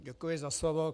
Děkuji za slovo.